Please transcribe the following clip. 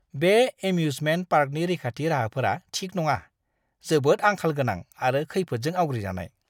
बे एम्यूजमेन्ट पार्कनि रैखाथि राहाफोरा थिक नङा, जोबोद आंखाल गोनां आरो खैफोदजों आवग्रिजानाय!